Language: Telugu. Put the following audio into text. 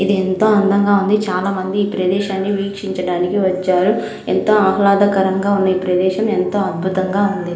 ఇది ఎంతో అందంగా ఉంది చాలా మంది ఈ ప్రదేశాన్ని వీక్షించడానికి వచ్చారు ఎంతో ఆహ్లాదకరంగా ఉంది ఈ ప్రదేశం ఎంతో అద్భుతంగా ఉంది.